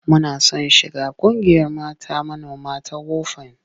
Muna son shiga ƙungiyar mata manoma ta WOFAN.